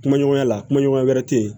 Kuma ɲɔgɔnya la kuma ɲɔgɔnya wɛrɛ te yen